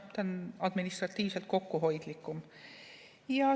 See on administratiivselt kokkuhoidlikum.